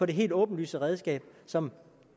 det helt åbenlyse redskab som